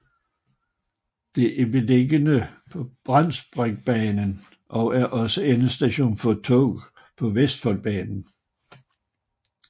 Det er beliggende på Bratsbergbanen og er også endestation for tog på Vestfoldbanen